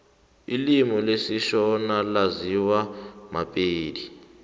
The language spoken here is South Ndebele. ilimi lesishona laziwa mapedi